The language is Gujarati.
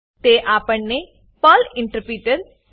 તે આપણને પર્લ ઇન્ટરપ્રિટર